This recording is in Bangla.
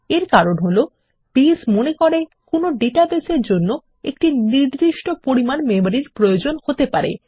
এর কারণ হল বেজ মনে করে কোনো ডাটাবেস এর জন্য একটি নির্দিষ্ট পরিমান মেমরি প্রয়োজন হতে পারে